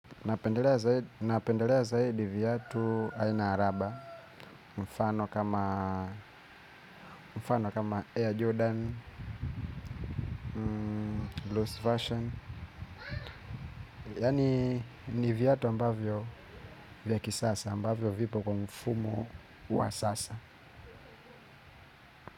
Napendelea zaidi viatu aina ya raba mfano kama Air Jordan, Blues Fashion. Yaani, ni viatu ambavyo vya kisasa ambavyo vipo kwa mfumo wa sasa.